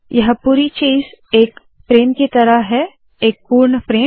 यह पूरी चीज़ एक फ्रेम की तरह है - एक पूर्ण फ्रेम